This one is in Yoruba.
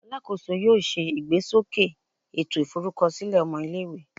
Alakoso yoo ṣe igbesoke eto iforukọsilẹ ọmọ ile-iwe